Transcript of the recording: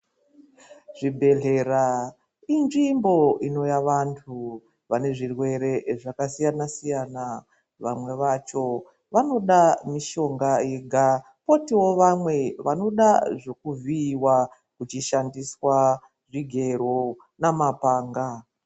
Zvibhedhlera inzvimbo inouya vantu vabe zvirwere zvakasiyana siyana vamwe vacho vanoda mushonga yega kwotiwo vamwe vanoda zvekuvhikwa kuchishandiswa zvigero namapanga.